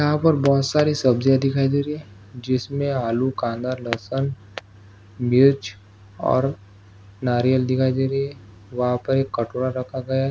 यहा पर बहुत सारी सब्जी दिखाई दे रही है जिसमे आलू कांदा लसन मिर्च और नारियाल दिखाई दे रही हैं वाह पर एक कटोरा रखा गया हैं।